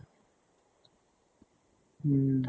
উম